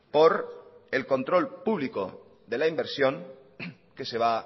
por el control público de la inversión que se va